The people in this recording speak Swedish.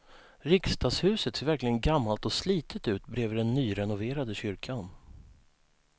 Riksdagshuset ser verkligen gammalt och slitet ut bredvid den nyrenoverade kyrkan.